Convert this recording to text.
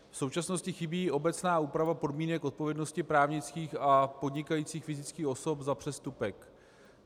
V současnosti chybí obecná úprava podmínek odpovědnosti právnických a podnikajících fyzických osob za přestupek.